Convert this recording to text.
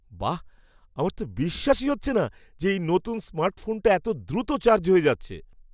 বাহ, আমার তো বিশ্বাসই হচ্ছে না যে এই নতুন স্মার্টফোনটা এত দ্রুত চার্জ হয়ে যাচ্ছে!